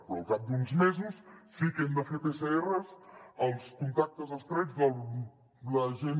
però al cap d’uns mesos sí que hem de fer pcrs als contactes estrets de la gent